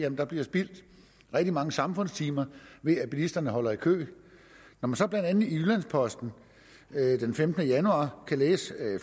at der bliver spildt rigtig mange samfundstimer ved at bilisterne holder i kø når man så blandt andet i jyllands posten den femtende januar kan læse at